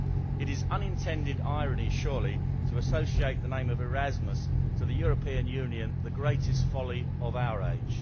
It is unintended irony, surely, to associate the name of Erasmus with the European Union, the greatest folly of our age.